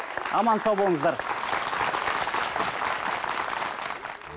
аман сау болыңыздар